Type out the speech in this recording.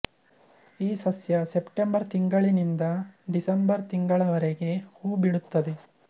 ಈ ಸಸ್ಯ ಸೆಪ್ಟೆಂಬರ್ ತಿಂಗಳಿನಿಂದ ಡಿಸೆಂಬರ್ ತಿಂಗಳವರೆಗೆ ಹೂ ಬಿಡುತ್ತದೆ